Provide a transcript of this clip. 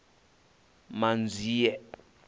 manzhie